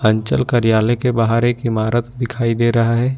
अंचल कार्यालय के बाहर एक इमारत दिखाई दे रहा है।